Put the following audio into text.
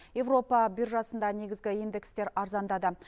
европа биржасында негізгі индекстер арзандады